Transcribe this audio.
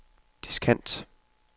diskant